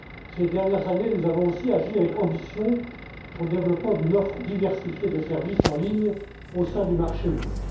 Ces dernières années, nous avons aussi agi avec ambition pour le développement d'une offre diversifiée des services en ligne au sein du marché unique.